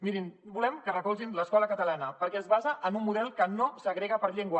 mirin volem que recolzin l’escola catalana perquè es basa en un model que no segrega per llengua